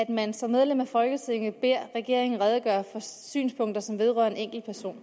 at man som medlem af folketinget beder regeringen redegøre for synspunkter som vedrører en enkeltperson